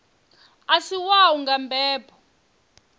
a si wau nga mbebo